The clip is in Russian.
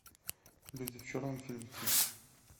люди в черном фильм три